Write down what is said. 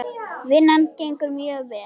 Vinnan gengur mjög vel.